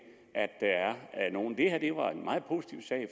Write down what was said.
her var en meget positiv sag